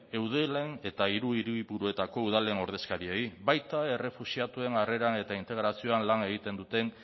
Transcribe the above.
eudelen eta hiru hiriburuetako udalen ordezkariei baita errefuxiatuen harreran eta integrazioan lana egiten duten